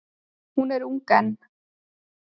Hún er ung enn.